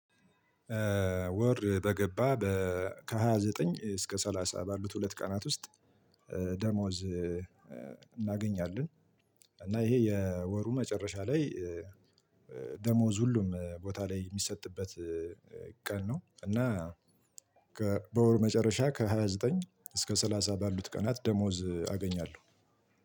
ወር በገባ በ ከሃያ ዘጠኝ እስከ ሰላሳ ባሉት ሁለት ቀናት ውስጥ ደሞዝ እናገኛለን። እና ይሄ የወሩ መጨረሻ ላይ ደሞዝ ሁሉም ቦታ ላይ የሚሰጥበት ቀን ነው። እና በወር መጨረሻ ከሃያ ዘጠኝ እስከ ሰላሳ ባሉት ቀናት ደሞዝ አገኛለሁ።